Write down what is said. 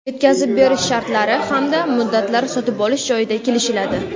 Yetkazib berish shartlari hamda muddatlari sotib olish joyida kelishiladi.